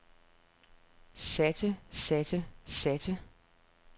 satte satte satte